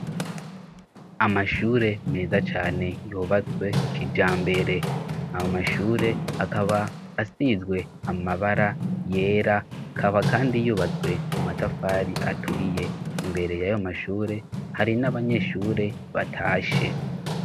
Amashure meza cane yubatswe kija mbere ayo mashure akaba asizwe amabara yera kava, kandi yubatswe mu matafari aturiye imbere y' ayo mashure hari n'abanyeshure batashe.